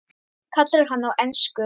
kallar hann á ensku.